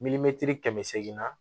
kɛmɛ seegin na